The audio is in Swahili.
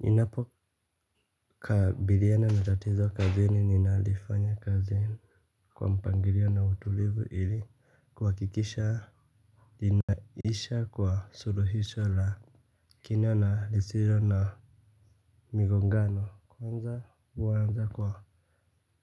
Ninapo kabiliana na tatizo kazi ni ninalifanya kazi kwa mpangilio na utulivu ili kuhakikisha. Ninaisha kwa suruhisho la kina na lisilo na migo ngano. Kwanza huanza kwa